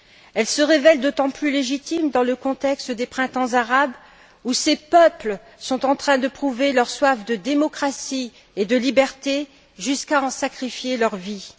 Elle se révèle d'autant plus légitime dans le contexte des printemps arabes où ces peuples sont en train de prouver leur soif de démocratie et de liberté jusqu'à en sacrifier leurs vies.